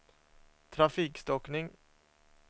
trafikstockning